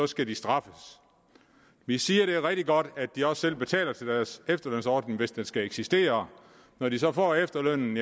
skal de straffes vi siger at det er rigtig godt at de selv betaler til deres efterlønsordning hvis den skal eksistere når de så får efterlønnen